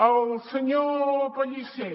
al senyor pellicer